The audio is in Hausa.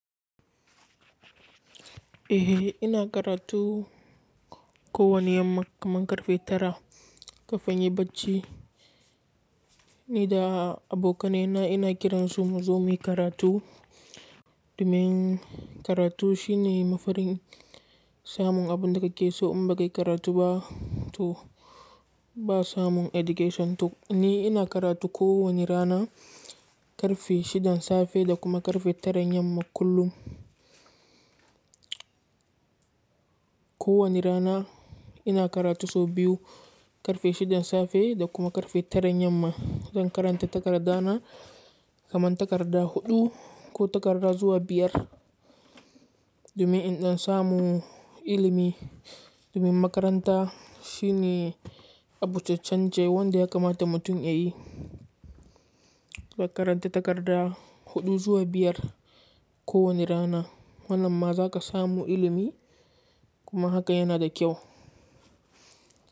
Eh, ina karatu ko wane yamma kaman karfe tara kafin in yi bacci, ni da abokaina ina kiran su muzo muyi karatu. Domin karatu shi ne mafarin samun abin da kake so in baka yi karatu ba, to ba samun education. To ni ina karatu ko wane rana karfe shidan safe da kuma karfe tara yamma kullum. Ko wani rana ina karatu sau biyu, karfe shidan safe da kuma karfe tara yamma don karanta takardana, kaman takarda huɗu ko takarda zuwa biyar. Domin in don samu ilimi, domin makaranta shi ne abu ce canje wanda ya kamata mu tun ya yi. Ka karanta takarda huɗu zuwa biyar ko wane rana, wannan ma za ka samu ilimi kuma haka yana da kyau.